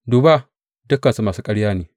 Duba, dukansu masu ƙarya ne!